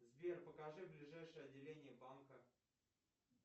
сбер покажи ближайшее отделение банка